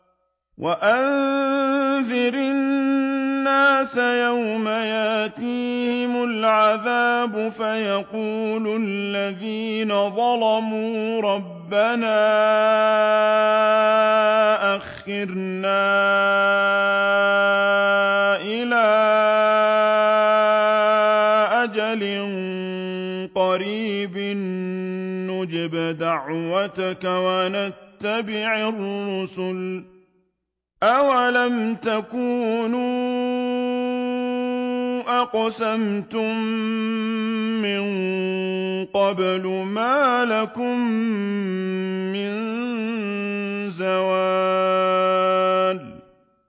وَأَنذِرِ النَّاسَ يَوْمَ يَأْتِيهِمُ الْعَذَابُ فَيَقُولُ الَّذِينَ ظَلَمُوا رَبَّنَا أَخِّرْنَا إِلَىٰ أَجَلٍ قَرِيبٍ نُّجِبْ دَعْوَتَكَ وَنَتَّبِعِ الرُّسُلَ ۗ أَوَلَمْ تَكُونُوا أَقْسَمْتُم مِّن قَبْلُ مَا لَكُم مِّن زَوَالٍ